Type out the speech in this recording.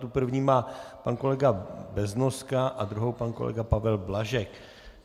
Tu první má pan kolega Beznoska a druhou pan kolega Pavel Blažek.